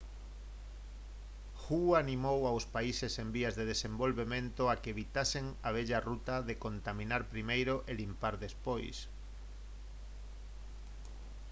hu animou aos países en vías de desenvolvemento a que «evitasen a vella ruta de contaminar primeiro e limpar despois»